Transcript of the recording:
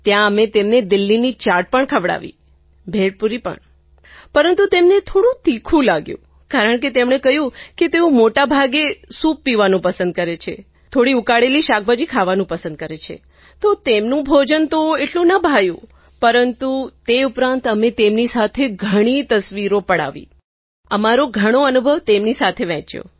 ત્યાં અમે તેમને દિલ્લીની ચાટ પણ ખવડાવી ભેળપુરી પણ ખવડાવી પરંતુ તેમને થોડું તીખું લાગ્યું કારણ કે તેમણે કહ્યું કે તેઓ મોટા ભાગે સૂપ પીવાનું પસંદ કરે છે થોડી ઉકાળેલી શાકભાજી ખાવાનું પસંદ કરે છે તો તેમનું ભોજન તો એટલું ન ભાવ્યું પરંતુ તે ઉપરાંત અમે તેમની સાથે ઘણી તસવીરો પડાવી અમારો ઘણો અનુભવ તેમની સાથે વહેંચ્યો